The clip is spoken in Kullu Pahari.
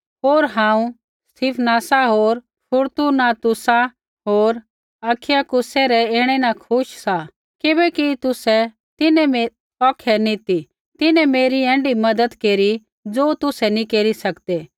होर हांऊँ स्तिफनासा होर फुरतूनातुसा होर अखईकुसे रै ऐणै न खुश सा किबैकि तुसै औखै नी ती तिन्हैं मेरी ऐण्ढी मज़त केरी ज़ो तुसै नी केरी सकदै